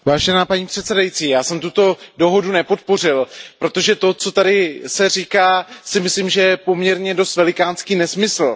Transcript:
Paní předsedající, já jsem tuto dohodu nepodpořil, protože to, co se tady říká, si myslím, že je poměrně dost velikánský nesmysl.